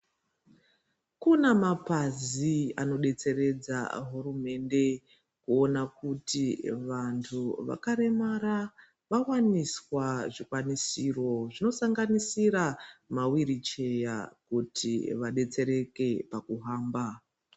Kuna mapazi anodetseredza hurumende kuona kuti vandu vakaremara vawaniswa zvikwanisiro zvinosanganisira mawiricheya kuti vadetsereke pakuhamba.